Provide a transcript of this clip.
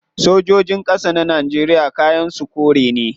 Sojojin kasa na Najeriya kayan su kore ne